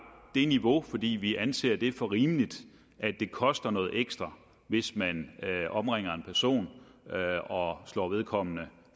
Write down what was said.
det niveau fordi vi anser det for rimeligt at det koster noget ekstra hvis man omringer en person og slår vedkommende